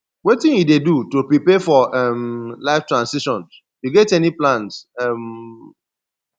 wetin you dey do to prepare for um life transitions you get any plans um